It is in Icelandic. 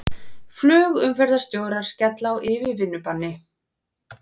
Flugumferðarstjórar skella á yfirvinnubanni